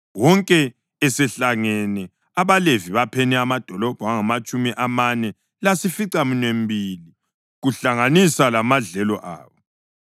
Wonke esehlangene abaLevi bapheni amadolobho angamatshumi amane lasificaminwembili, kuhlanganisa lamadlelo abo.